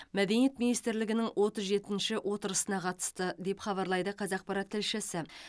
мәдениет министрлерінің отыз жетінші отырысына қатысты деп хабарлайды қазақпарат тілшісі